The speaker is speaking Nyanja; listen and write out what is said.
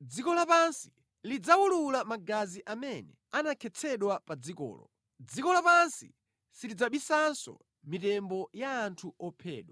Dziko lapansi lidzawulula magazi amene anakhetsedwa pa dzikolo; dziko lapansi silidzabisanso mitembo ya anthu ophedwa.